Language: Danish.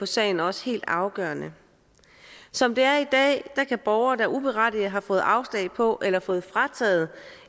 sagen også helt afgørende som det er i dag kan borgere der uberettiget har fået afslag på eller fået frataget